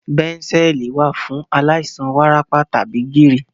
Bẹ̀ńsẹ̀ẹ̀lì wà fún àwọn aláìsàn wárápá tàbí gìrì.